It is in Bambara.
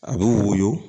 A bɛ woyo